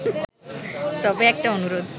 তবে একটা অনুরোধ